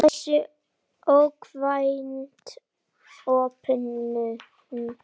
Þessi óvænta opnun